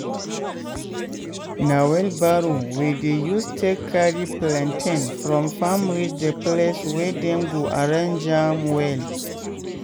na wheelbarrow we dey use take carry plantain from farm reach the place wey dem go arrange am well.